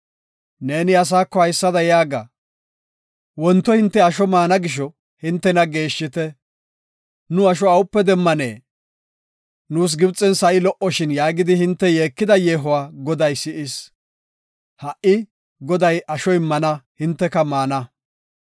“Neeni asaako haysada yaaga; ‘Wonto hinte asho maana gisho hintena geeshshite. Nu asho awupe demmanee? Nuus Gibxen sa7i lo77oshin’ yaagidi hinte yeekida yeehuwa Goday si7is. Ha77i Goday asho immana; hinteka maana.